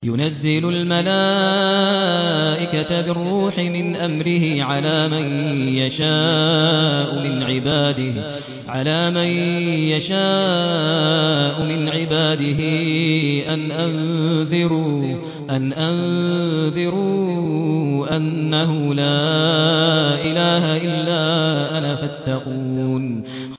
يُنَزِّلُ الْمَلَائِكَةَ بِالرُّوحِ مِنْ أَمْرِهِ عَلَىٰ مَن يَشَاءُ مِنْ عِبَادِهِ أَنْ أَنذِرُوا أَنَّهُ لَا إِلَٰهَ إِلَّا أَنَا فَاتَّقُونِ